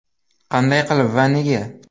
Qanday qilib va nega?